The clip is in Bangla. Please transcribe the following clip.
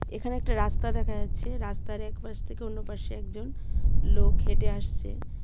এখানে একটা রাস্তা দেখা যাচ্ছে রাস্তার এক পাশ থেকে অন্য পাশে একজন লোক হেঁটে আসছে.